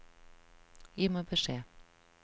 Gi meg beskjed